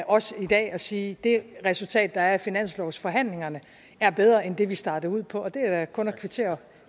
også i dag at sige at det resultat der er af finanslovsforhandlingerne er bedre end det vi startede ud på og det er da kun at kvittere